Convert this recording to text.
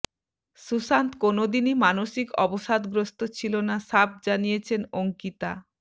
সুশান্ত কোনওদিনই মানসিক অবসাদগ্রস্ত ছিল না সাফ জানিয়েছেন অঙ্কিতা